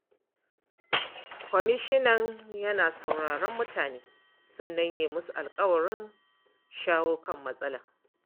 Kwamishinan yana sauraron mutane, sannan ya yi musu alƙawarin shawo kan matsalar.